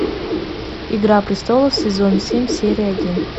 игра престолов сезон семь серия один